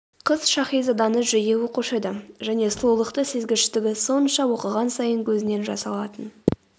қыз шаһизаданы жиі оқушы еді және сұлулықты сезгіштігі сонша оқыған сайын көзінен жас алатын